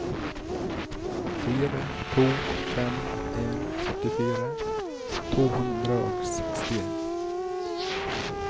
fire to fem en åttifire to hundre og sekstien